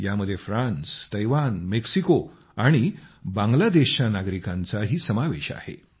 यामध्ये France Taiwan Mexico आणि बांगलादेशच्या नागरिकांचाही समावेश आहे